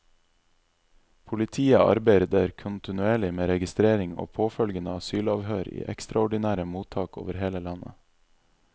Politiet arbeider kontinuerlig med registrering og påfølgende asylavhør i ekstraordinære mottak over hele landet.